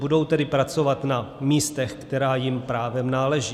Budou tedy pracovat na místech, která jim právem náleží.